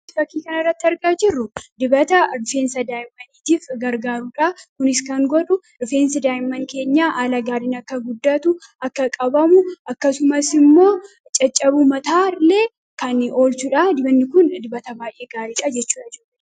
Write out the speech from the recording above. kai faki kan irratti argaa jirru dibata difeensa daayimmaniitiif gargaaruudhaa kunis kan godhu difeensa daayimman keenyaa aalaa gaaliin akka guddaatu akka qabamu akkasumas immoo caccabu mataalee kan olchuudha dibanni kun dibata faay'ee gaalii cajechua jiru